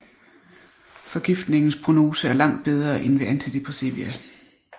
Forgiftningens prognose er langt bedre end ved antidepressiva